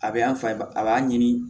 A bɛ an fa ba a b'a ɲini